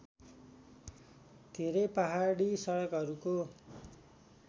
धेरै पहाडी सडकहरूको